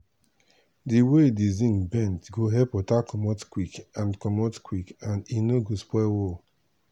di way di zinc bend go help water comot quick and comot quick and e no go spoil wall.